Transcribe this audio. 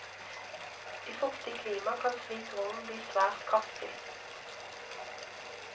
I fuktig klima kan slik rogn bli svært kraftig.